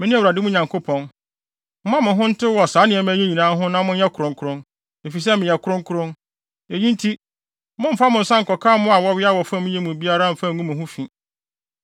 Mene Awurade wo Nyankopɔn. Momma mo ho ntew wɔ saa nneɛma yi nyinaa ho na monyɛ kronkron, efisɛ meyɛ kronkron. Eyi nti, mommfa mo nsa nkɔka mmoa a wɔwea wɔ fam yi mu biara mfa ngu mo ho fi.